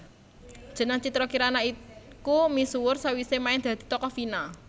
Jeneng Citra Kirana iku misuwur sawisé main dadi tokoh Vina